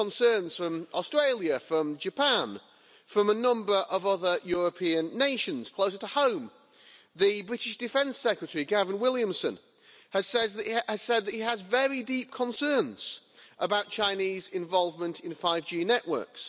there are concerns from Australia, from Japan, from a number of other European nations closer to home. The British Defence Secretary Gavin Williamson has said that he has very deep concerns about Chinese involvement in 5G networks.